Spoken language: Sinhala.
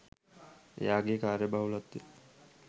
එයාගේ කාර්යබහුලත්වය